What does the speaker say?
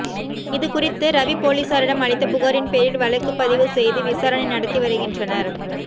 இது குறித்து ரவி போலீசாரிடம் அளித்த புகாரின் பேரில் வழக்குப்பதிவு செய்து விசாரணை நடத்தி வருகின்றனர்